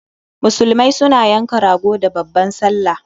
Musulmai su na yanka rago da babban sallah